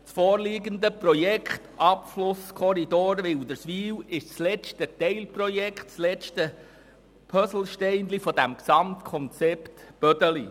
Das vorliegende Projekt «Abflusskorridor Wilderswil» ist das letzte Teilprojekt oder das letzte Puzzlesteinchen des Gesamtkonzepts Bödeli.